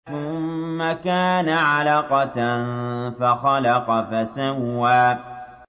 ثُمَّ كَانَ عَلَقَةً فَخَلَقَ فَسَوَّىٰ